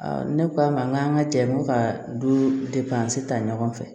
ne ko a ma n k'an ka jɛ ko ka du ta ɲɔgɔn fɛ